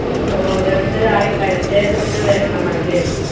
നമ്മൾ ഓരോരുത്തരായി പരിചയപ്പെട്ടു വരണം അല്ലെ?